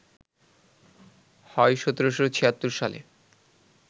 হয় ১৭৭৬ সালে